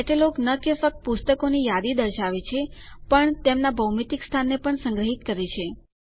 catalogue ન કે ફક્ત પુસ્તકોની યાદી દર્શાવે છે પણ તેમનાં ભૌતિક સ્થાનને પણ સંગ્રહિત કરે છે